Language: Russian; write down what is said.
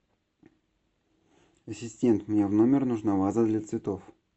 ассистент мне в номер нужна ваза для цветов